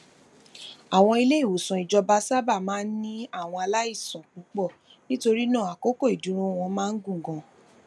àwọn iléìwòsàn ìjọba sábà máa ń ní àwọn aláìsàn púpọ nítorí náà àkókò ìdúró wọn máa ń gùn ganan